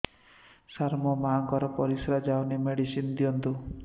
ସାର ମୋର ମାଆଙ୍କର ପରିସ୍ରା ଯାଉନି ମେଡିସିନ ଦିଅନ୍ତୁ